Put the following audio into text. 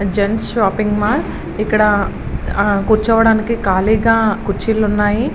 Gents shopping mall ఆ ఇక్కడ కూర్చోవడానికి కాళీగా కుర్చీలు ఉన్నాయి.